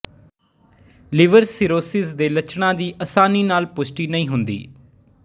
liver cirrhosis ਦੇ ਲੱਛਣਾਂ ਦੀ ਆਸਾਨੀ ਨਾਲ ਪੁਸ਼ਟੀ ਨਹੀਂ ਹੁੰਦੀ